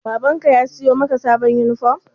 Baban ka ya siyo maka sabon yunifom?